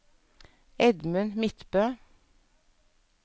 Edmund Midtbø